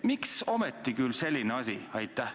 Miks ometi selline asi?